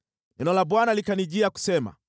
Neno la Bwana likanijia, kusema: